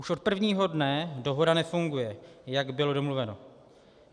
Už od prvního dne dohoda nefunguje, jak bylo domluveno.